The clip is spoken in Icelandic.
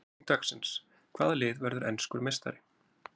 Spurning dagsins: Hvaða lið verður enskur meistari?